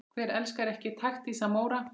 Hver elskar ekki taktíska Móra?